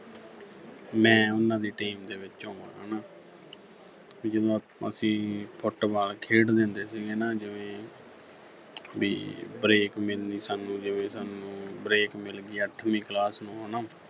ਮੈਂ ਉਨ੍ਹਾਂ ਦੀ team ਦੇ ਵਿੱਚ ਹੋਵਾਂ ਹੈਨਾ ਤੇ ਜਦੋਂ ਅਸੀਂ Football ਖੇਡਦੇ ਹੁੰਦੇ ਸੀਗੇ ਨਾ ਜਿਵੇਂ ਵੀ break ਮਿਲਣੀ ਸਾਨੂੰ ਜਿਵੇਂ ਸਾਨੂੰ break ਮਿਲਗੀ ਅੱਠਵੀਂ class ਨੂੰ ਹੈਨਾ